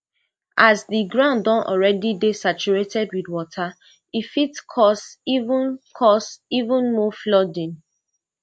as di ground don already dey saturated wit water e fit cause even cause even more flooding